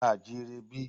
A à jí ire bí?